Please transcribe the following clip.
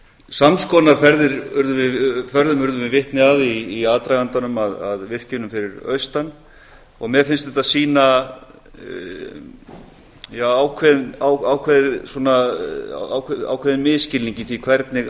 sams konar ferðum urðum við vitni að í aðdragandanum að virkjunum fyrir austan og mér finnst þetta sýna ákveðinn misskilning í því hvernig